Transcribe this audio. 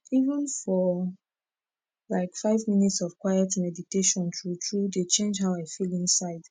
even for like five minutes of quiet meditation tru tru dey change how i feel inside